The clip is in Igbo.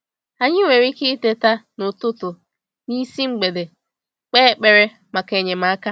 Anyị nwere ike ịteta “n’ụtụtụ n’isi mgbede” kpee ekpere maka enyemaka.